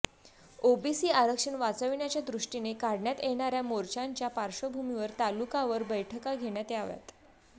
OBC आरक्षण वाचविण्याच्या दृष्टीने काढण्यात येणाऱ्या मोर्च्यांच्या पार्श्वभूमीवर तालुकावर बैठका घेण्यात याव्यात